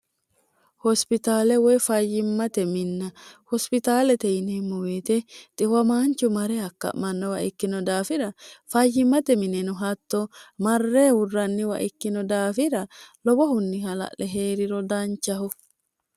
hospitaale woy fayyimmate minna hospitaalete yineemmo weete xiwamaanchu mare hakka'mannowa ikkino daafira fayyimmate mineno hatto marree hurranniwa ikkino daafira lobohunni hala'le hee'riro danchaho